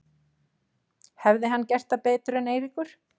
Hefði hann gert það betur en Eiríkur?